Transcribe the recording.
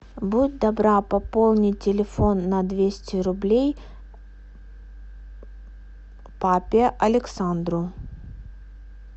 будь добра пополни телефон на двести рублей папе александру